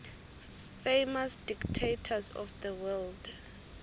famous dictators of the world